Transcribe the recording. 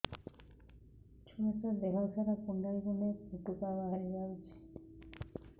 ଛୁଆ ଟା ଦେହ ସାରା କୁଣ୍ଡାଇ କୁଣ୍ଡାଇ ପୁଟୁକା ବାହାରି ଯାଉଛି